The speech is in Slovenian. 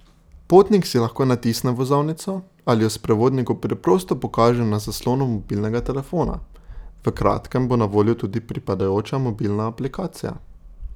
Potnik si lahko natisne vozovnico ali jo sprevodniku preprosto pokaže na zaslonu mobilnega telefona, v kratkem bo na voljo tudi pripadajoča mobilna aplikacija.